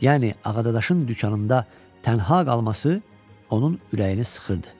yəni Ağadaşın dükanında tənha qalması onun ürəyini sıxırdı.